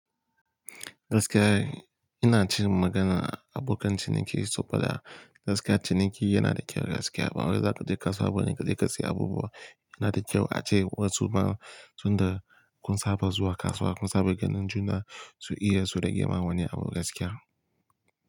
Gaskiya, ina cin magana abokan ciniki saboda gaskiya ciniki yana da kyau gaskiya. Ban wai za ka je kasuwa bane ka je ka sai abubuwa. Yana da kyau a ce wa su ma tunda kun saba zuwa kasuwa, kun saba ganin juna su iya su rage ma wani abu gaskiya.